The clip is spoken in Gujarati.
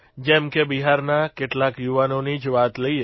જેમ કે બિહારના કેટલાક યુવાનોની જ વાત લઇએ